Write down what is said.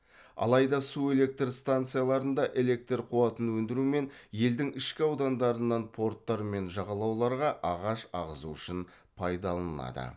алайда су электр станцияларында электр қуатын өндіру мен елдің ішкі аудандарынан порттар мен жағалауларға ағаш ағызу үшін пайдаланылады